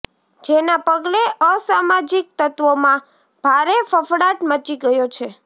જેના પગલે અસામાજિક તત્વોમાં ભારે ફફળાટ મચી ગયો છે